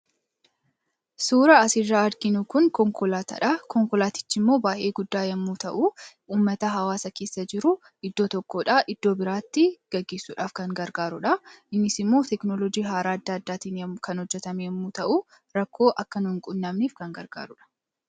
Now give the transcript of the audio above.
suura asiirraa arginuu kun konkolaataa dha konkolaatichi immoo baa'ee guddaa yommuu ta'u ummata hawaasa keessa jiru iddoo tokkoodha iddoo biraatti gageissuudhaaf kan gargaarudha innis immoo teknolojii haaraaddaaddaatiin kan hojjatame yommuu ta'u rakkoo akka nuin qunnaamniif kan gargaarudha